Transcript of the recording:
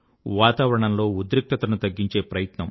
వాతావరణంలో ఉద్రిక్తతను తగ్గించే ప్రయత్నం